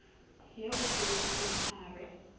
ya o tebetseng a re